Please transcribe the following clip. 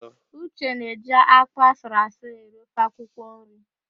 Uche na eji ákpụ́ asụrụasụ eri ofe akwụkwọnri